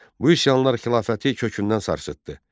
Bu üsyanlar xilafəti kökündən sarsıtdı.